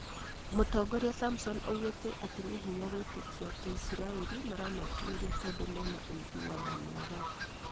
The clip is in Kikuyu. mũtongoria samson augĩte atĩ "nĩ hinya gwĩtĩkiĩ atĩ isiraĩri maramatuĩria tondũ mena uiguano mwega "